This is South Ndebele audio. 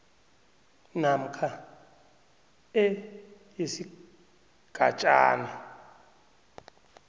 namkha e yesigatjana